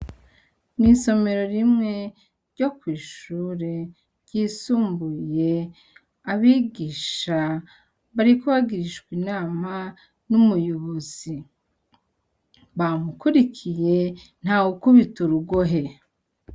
Mw'isomero rimwe ryo kw'ishure ryisumbuye abigisha bariko bagirishwa inama n'umuyobozi. Bamukwirikiye nta wukubita urugohe.